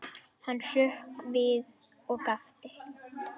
Hann hrökk við og gapti.